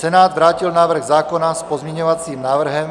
Senát vrátil návrh zákona s pozměňovacím návrhem.